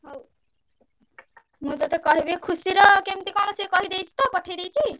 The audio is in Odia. ହଉ ମୁଁ ତତେ କହିବି। ଖୁସିର କେମତି କଣ ସିଏ କହିଦେଇଚି ତ ପଠେଇ ଦେଇଚି?